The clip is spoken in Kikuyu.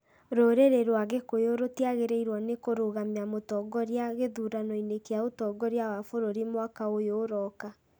rũrĩrĩ rwa gĩkũyũ rũtiagĩrĩirwo nĩ kũrũgamia mũtongoria gĩthurano-inĩ kĩa ũtongoria wa bũrũri mwaka ũyũ ũroka.